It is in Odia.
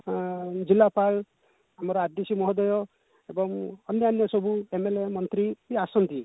ଅ ଜିଲ୍ଲାପାଳ ଆମର RDC ମହୋଦୟ ଏବଂ ଅନ୍ୟାନ୍ୟ ସବୁ MLA ମନ୍ତ୍ରୀ ବି ଆସନ୍ତି